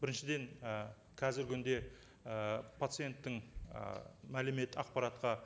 біріншіден і қазіргі күнде ы пациенттің ы мәлімет ақпаратқа